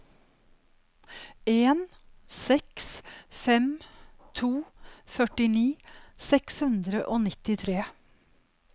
en seks fem to førtini seks hundre og nittitre